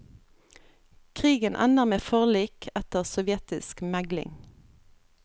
Krigen ender med forlik etter sovjetisk megling.